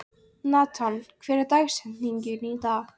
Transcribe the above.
Nathan, hver er dagsetningin í dag?